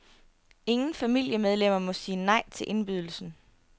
Ingen familiemedlemmer må sige nej til indbydelsen.